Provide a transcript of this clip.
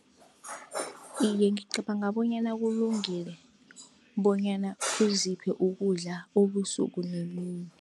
Iye, ngicabanga bonyana kulungile, bonyana uziphe ukudla ubusuku nemini.